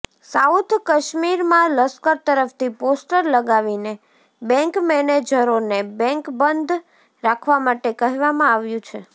south કાશ્મીરમાં લશ્કર તરફથી પોસ્ટર લગાવીને બેન્ક મેનેજરોને બેન્ક બંધ રાખવા માટે કહેવામાં આવ્યુ છે